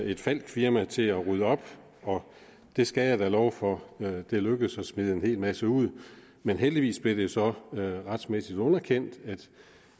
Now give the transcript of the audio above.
et falckfirma til at rydde op og jeg skal da love for at det lykkedes at smide en hel masse ud men heldigvis blev det så retligt underkendt at